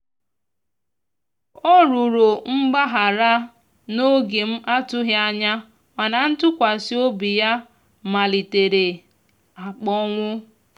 ọ rụrọ mgbahara na oge m atughi anya mana ntụkwasi obi ya malitere akponwụ